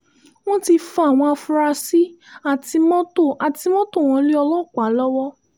wọ́n ti fa àwọn afurasí àti mọ́tò àti mọ́tò wọn lé ọlọ́pàá lọ́wọ́